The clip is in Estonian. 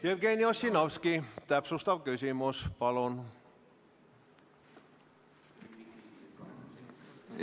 Jevgeni Ossinovski, täpsustav küsimus, palun!